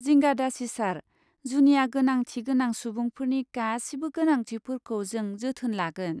जिंगा दासि सार, जुनिया गोनांथि गोनां सुबुंफोरनि गासिबो गोनांथिफोरखौ जों जोथोन लागोन।